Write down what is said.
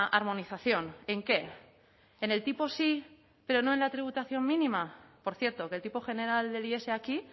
armonización en qué en el tipo sí pero no en la tributación mínima por cierto que el tipo general del is aquí